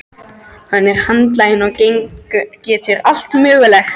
Hann er handlaginn og getur allt mögulegt.